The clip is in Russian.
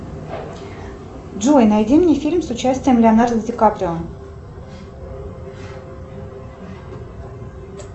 джой найди мне фильм с участием леонардо ди каприо